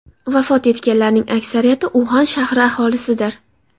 Vafot etganlarning aksariyati Uxan shahri aholisidir.